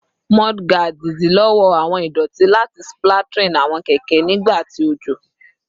Mudguards idilọwọ awọn idoti lati splattering awọn keke nigba ti ojo